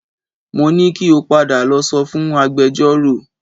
Mo ní kí o padà lọ sọ fún agbẹjọ́rò